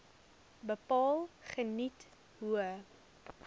bepaal geniet hoë